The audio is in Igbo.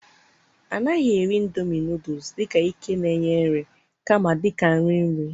A naghị eri indomie noodles dị ka ike na-enye nri, kama dị ka nri nri.